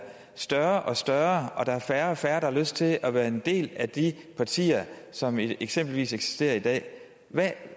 større og større og at der er færre og færre har lyst til at være en del af de partier som eksempelvis eksisterer i dag